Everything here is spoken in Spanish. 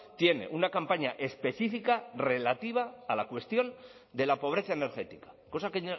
tiene una campaña específica relativa a la cuestión de la pobreza energética cosa que